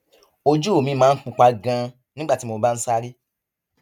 ojú mi máa ń pupa ganan nígbà tí mo bá ń sáré